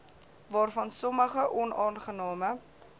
waarvan sommige onaangename